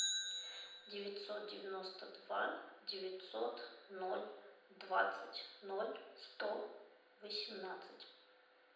девятьсот девяносто два девятьсот ноль двадцать ноль сто восемнадцать